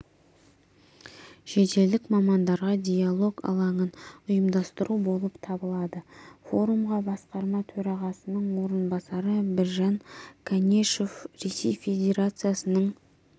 шетелдік мамандарға диалог алаңын ұйымдастыру болып табылады форумға басқарма төрағасының орынбасары біржан канешев ресей федерациясының